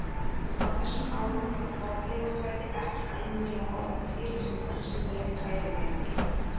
Á þessum árum var fornleifafræði ekki almennilega orðin til sem vísindaleg fræðigrein.